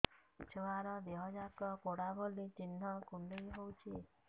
ଛୁଆର ଦିହ ଯାକ ପୋଡା ଭଳି ଚି଼ହ୍ନ କୁଣ୍ଡେଇ ହଉଛି